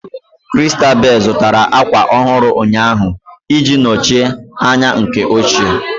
Christabel zụtara ákwà ọhụrụ ụnyaahụ ị ji nọchie anya nke ochie